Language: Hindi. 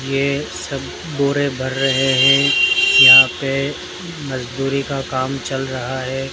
ये सब बोरे भर रहे हैं यहां पे मजदूरी का काम चल रहा है।